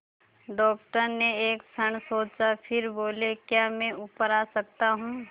doctor ने एक क्षण सोचा फिर बोले क्या मैं ऊपर आ सकता हूँ